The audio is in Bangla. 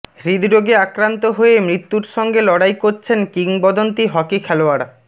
হৃদরোগে আক্রান্ত হয়ে মৃত্যুর সঙ্গে লড়াই করছেন কিংবদন্তি হকি খেলোয়াড়